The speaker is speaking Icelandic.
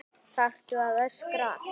ÞARFTU AÐ ÖSKRA